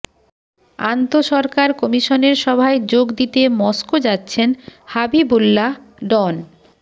আন্তঃসরকার কমিশনের সভায় যোগ দিতে মস্কো যাচ্ছেন হাবিবুল্লাহ ডন